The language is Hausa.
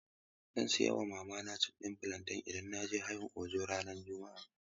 Zan sayin wa mama chips ɗin fulanten idan naje Hayin Ojo ranar juma'a.